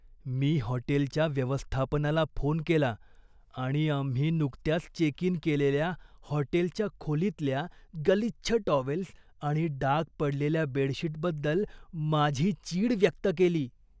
मी हॉटेलच्या व्यवस्थापनाला फोन केला आणि आम्ही नुकत्याच चेक इन केलेल्या हॉटेलच्या खोलीतल्या गलिच्छ टॉवेल्स आणि डाग पडलेल्या बेडशीटबद्दल माझी चीड व्यक्त केली.